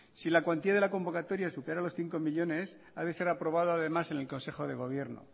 si la cuantía de la convocatoria supera los cinco millónes ha de ser aprobada además en el consejo de gobierno